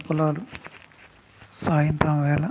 ఇక్కడంతా పంట పొలాలు సాయంత్రం వేల --